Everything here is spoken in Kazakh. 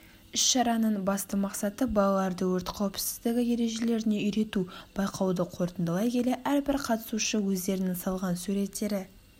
іс-шараның басты мақсаты балаларды өрт қауіпсіздігі ережелеріне үйрету байқауды қорытындылай келе әрбір қатысушы өздерінің салған суреттері